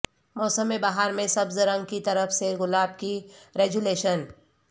موسم بہار میں سبز رنگ کی طرف سے گلاب کی ریجولیشن